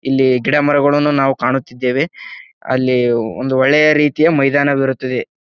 ಇಲ್ಲಿ ಗಿಡ ಮರಗಳನ್ನು ನಾವು ಕಾಣುತ್ತಿದ್ದೇವೆ. ಅಲ್ಲಿ ಒಂದು ಒಳ್ಳೆಯ ರೀತಿಯ ಮೈದಾನವಿರುತ್ತದೆ.